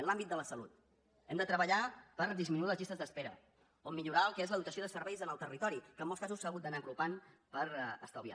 en l’àmbit de la salut hem de treballar per disminuir les llistes d’espera o millorar el que és la dotació de serveis en el territori que en molts casos s’ha hagut d’anar apropant per estalviar